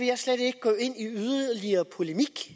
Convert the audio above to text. jeg slet ikke gå ind i yderligere polemik